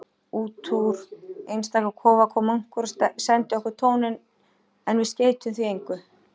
Útúr einstaka kofa kom munkur og sendi okkur tóninn, en við skeyttum því engu.